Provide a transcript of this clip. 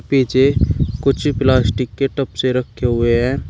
पीछे कुछ प्लास्टिक के टप से रखें हुए हैं।